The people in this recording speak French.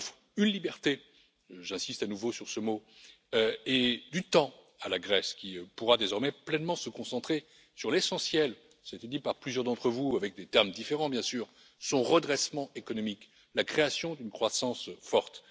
Il offre une liberté j'insiste à nouveau sur ce mot et du temps à la Grèce qui pourra désormais pleinement se concentrer sur l'essentiel cela a été dit par plusieurs d'entre vous, avec des termes différents, bien sûr à savoir son redressement économique, la création d'une croissance forte.